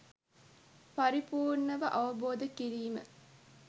පරිපූර්ණව අවබෝධ කිරීම.